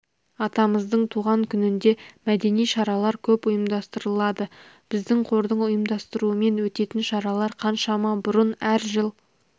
атамыздың туған күнінде мәдени шаралар көп ұйымдастырылады біздің қордың ұйымдастыруымен өтетін шаралар қаншама бұрын әр жыл